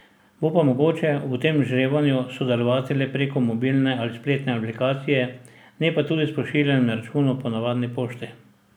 Bo pa mogoče v tem žrebanju sodelovati le preko mobilne ali spletne aplikacije, ne pa tudi s pošiljanjem računov po navadni pošti.